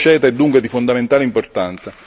L'accordo CETA è dunque di fondamentale importanza.